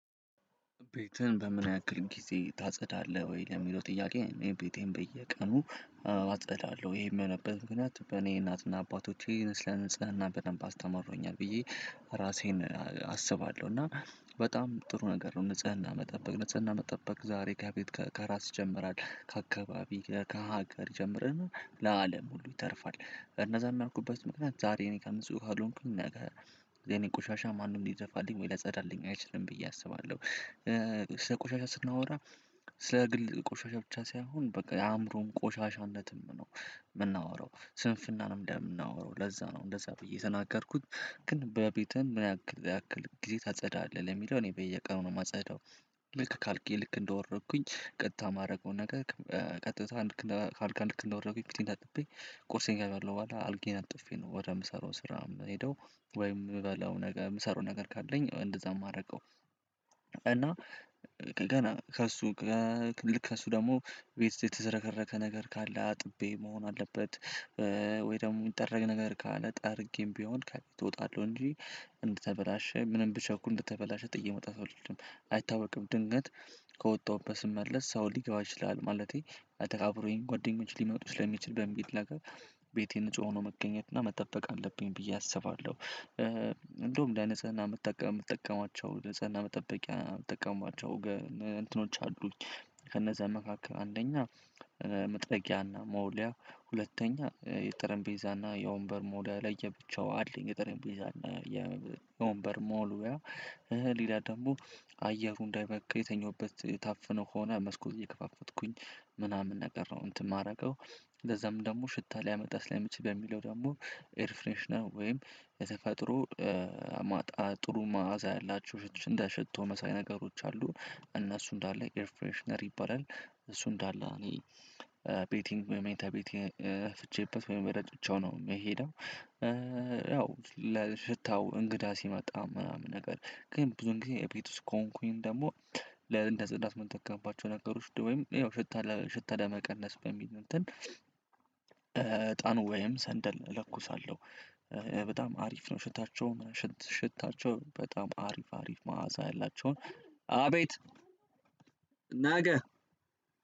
ቤትህን በምን ያክል ጊዜ ታጸዳለህ ወይ ለሚለው ጥያቄ? እኔ ቤቴን በየቀኑ አዎ አጸዳለሁ ይሄ የሚሆንበት ምክንያት በእኔ እናትና አባቶቼ ስለ ንጽህና በደንብ አስተመረውኛል ብዬ ራሴን አስባለሁ እና በጣም ጥሩ ነገር ነው ንጽህና መጠበቅ ንጽህና መጠበቅ ዛሬ ከራስ ይጀምራል ከአካባቢ ከሀገር ይጀምርና ለአለም ሁሉ ይተርፋል እነዛ ያልኩበት ምክንያት ዛሬ እኔ ንጹህ ካልሆንኩኝ ነገ የኔ ቆሻሻ ማንም ሊደፋልኝ ወይም ሊያጸዳልኝ አይችልም ብዬ አስባለሁ። ስለ ቆሻሻ ስናወራ ስለ ግል ቆሻሻ ብቻ ሳይሆን በቃ የአእምሮን ቆሻሻነትም ነው የምናወራው ስንፍናንም ነው የምናወራው ለዛ ነው እንደዛ ብዬ የተናገርኩት ግን በቤትህ ምን ያክል ያክል ጊዜ ታጸዳለህ ለሚለው እኔ በየቀኑ ነው የማጸዳው። ልክ ከአልጋየ ልክ እንደወረድኩኝ ቀጥታ የማደርገው ነገር ቀጥታ ካልጋ ልክ እንደወረድኩኝ ፊቴን ታጥቤ ቁርሴን ከበለው በኋላ አልጋየን አንጥፌ ነው ወደምሰራው ስራ የምሄደው ወይም የምበላው ነገር የምሰራው ነገር ካለኝ እንደዛ የማደርገው። እና ገና ከእሱ ከእሱ ደግሞ ቤት የተሰረከረከ ነገር ካለ አጥቤ መሆን አለበት ወይ ደግሞ የሚጠረግ ነገር ካለ ጠርጌም ቢሆን ካለ እወጣለሁ እንጂ። እንድተበላሸ ምንም ብቸኩል እንድተበላሸ ጥዬ መውጣት አልፈልግም። አይታወቅም ድንገት ከወጣሁበት ስመለስ ሰው ሊገባ ይችላል ማለቴ አብሮኝ ጓደኞች ሊመጡ ስለሚችል በሚል ነገር ቤቴን ንጹህ ሆኖ መገኘት እና መጠበቅ አለብኝ ብዬ አስባለሁ። እንደውም ለንፀሀና የምጠቀማቸው ለጽህና መጠበቂያ የምጠቀማቸው እንትኖች አሉኝ። ከነዛ መካከል አንደኛ መጥረጊያና መወሊያ ሁለተኛ የጠረንቤዛ እና የወንበር መውለያ ለየብቻው አለኝ። የጠረንቤዛ እና የወንበር መውለያ ሌላ ደግሞ አየሩ እንዳይበከል የተኛሁበት ታፍነው ከሆነ መስኮት እየከፋፈትኩኝ ምናምን ነገር ነው እንትን የማደርገው። ለዛም ደግሞ ሽታ ሊያመጣ ስለሚችል በሚለው ደግሞ ኤርፍሬሽናል ወይም የተፈጥሮ ማጣ ጥሩ ማዕዛ ያላቸው ሽቶ መሳይ ነገሮች አሉን እነሱ እንዳለ ኢርፍሬሽነር ይባላል እሱ እንዳለ እኔ ቤቴ መኝታ ቤቴ እረጭቸው ነው የምሄደው። ያው ለሽታው እንግዳ ሲመጣ ምናምን ነገር ግን ብዙ ጊዜ እቤት ውስጥ ከሆንኩኝ ደግሞ ለእንደፀዳት የምጠቀምባቸው ነገሮች ወይም ያው ሽታ ለሽታ ለመቀነስ በሚል እንትን እጣን ወይም ሰንደል እለኩሳለሁ። በጣም አሪፍ ነው። ሽታቸውን ሽታቸውን በጣም አሪፍ አሪፍ መአዛሳ ያላቸውን አቤት ነገ።